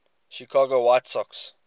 chicago white sox